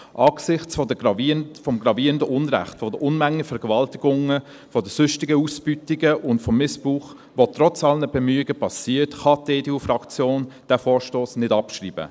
Angesichts des gravierenden Unrechts, der Unmengen an Vergewaltigungen, der sonstigen Ausbeutungen und des Missbrauchs, die trotz aller Bemühungen geschehen, kann die EDU-Fraktion diesen Vorstoss nicht abschreiben.